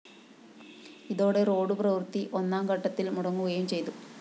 ഇതോടെ റോഡ്‌ പ്രവൃത്തി ഒന്നാംഘട്ടത്തില്‍ മുടങ്ങുകയും ചെയ്തു